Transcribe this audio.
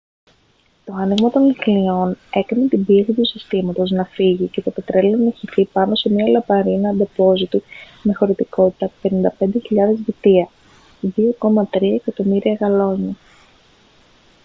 το άνοιγμα των λυχνίων έκανε την πίεση του συστήματος να φύγει και το πετρέλαιο να χυθεί πάνω σε μια λαμαρίνα ντεπόζιτου με χωρητικότητα 55.000 βυτία 2,3 εκατομμύρια γαλόνια